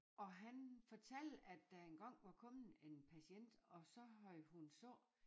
Og han fortalte at der engang var kommet en patient og så havde hun sagt